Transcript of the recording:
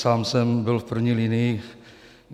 Sám jsem byl v první linii.